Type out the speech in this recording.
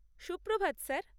Suprabhat, sir.